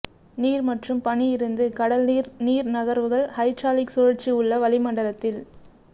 நீர் மற்றும் பனி இருந்து கடல் நீர் நீர் நகர்வுகள் ஹைட்ராலிக் சுழற்சி உள்ள வளிமண்டலத்தில்